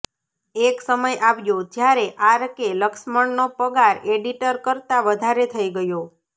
એક સમય આવ્યો જ્યારે આરકે લક્ષ્મણનો પગાર એડિટર કરતા વધારે થઇ ગયો